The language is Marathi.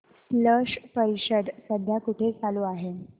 स्लश परिषद सध्या कुठे चालू आहे